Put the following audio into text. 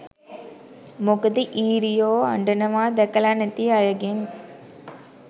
මොකද ඊරියො අඬනවා දැකල නැති අයගෙන්